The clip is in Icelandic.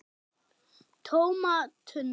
TÓMA TUNNU!